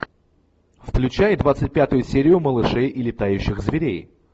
включай двадцать пятую серию малышей и летающих зверей